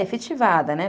É, efetivada, né?